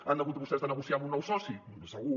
han hagut vostès de negociar amb un nou soci segur